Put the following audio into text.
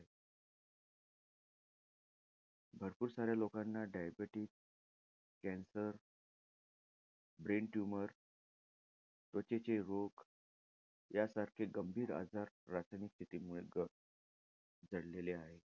भरपूर साऱ्या लोकांना diabetes, cancer, brain tumor, त्वचेचे रोग आजार, रासायनिक शेतीमुळे क~ जडलेले आहे.